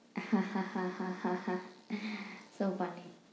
হা হা হা হা হা so funny ।